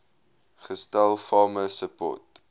gestel farmer support